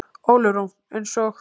Ólöf Rún: Eins og?